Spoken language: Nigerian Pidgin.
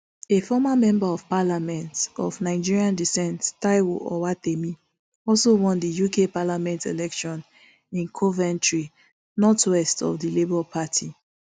a former member of parliament of nigerian descent taiwo owatemi also won the uk parliament election in coventry north west for the labour party